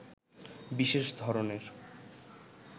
বিশেষ ধরনের